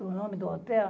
O nome do hotel?